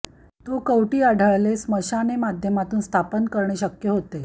तो कवटी आढळले स्मशाने माध्यमातून स्थापन करणे शक्य होते